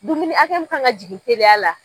Dumuni akɛya mun kan ka jigin teliya la.